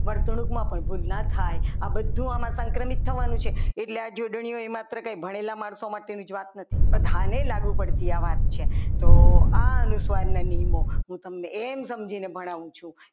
વર્તણુકમાં પણ ભૂલ ના થાય આ બધું આમાં સંક્રમિત થવાનું છે એટલે આ જોડણીઓ આપણે માત્ર કંઈ ભણેલા માણસો માટેની જ વાત નથી બધા ને લાગુ પડતી આ વાત છે તો આ અનુસ્વારના નિયમો હું તમને એમ સમજીને ભણાવું છું.